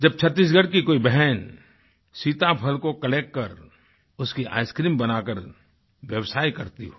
जब छत्तीसगढ़ की कोई बहन सीताफल को कलेक्ट कर उसकी आइसक्रीम बनाकर व्यवसाय करती हो